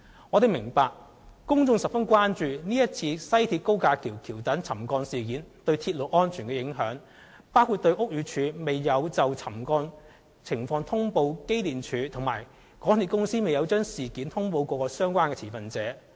我們明白，公眾十分關注今次西鐵高架橋橋躉沉降事件對鐵路安全造成的影響，亦關注屋宇署未有就沉降情況通報機電署，以及港鐵公司未有將事件通報各相關持份者。